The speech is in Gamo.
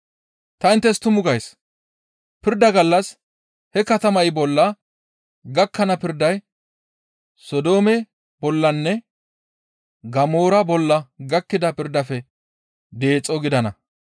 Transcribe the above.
Ta inttes tumu gays; pirda gallas he katamay bolla gakkana pirday Sodoome bollanne Gamoora bolla gakkida pirdaafe deexo gidana.